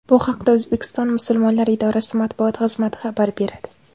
Bu haqda O‘zbekiston musulmonlari idorasi Matbuot xizmati xabar beradi .